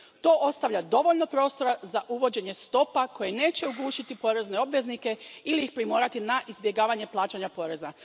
To ostavlja dovoljno prostora za uvođenje stopa koje neće ugušiti porezne obveznike ili ih primorati na izbjegavanje plaćanja poreza.